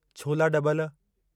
छोला डॿल